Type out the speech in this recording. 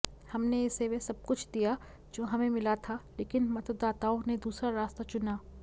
हमने इसे वह सबकुछ दिया जो हमें मिला था लेकिन मतदाताओं ने दूसरा रास्ता चुना